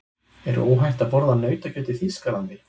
Er óhætt að borða nautakjöt í Þýskalandi?